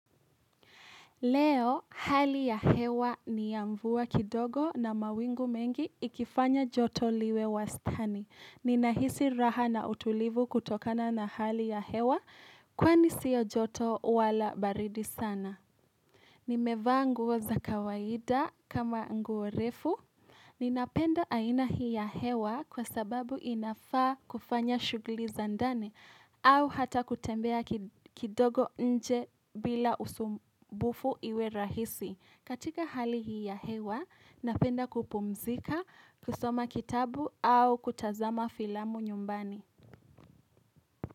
Leo, hali ya hewa ni ya mvua kidogo na mawingu mengi ikifanya joto liwe wa stani. Ninahisi raha na utulivu kutokana na hali ya hewa kwani siyo joto wala baridi sana. Nimevaa nguo za kawaida kama nguo refu, ninapenda aina hii ya hewa kwa sababu inafaa kufanya shuguli za ndani au hata kutembea kidogo nje bila usumbufu iwe rahisi. Katika hali hii ya hewa, ninapenda kupumzika, kusoma kitabu au kutazama filamu nyumbani.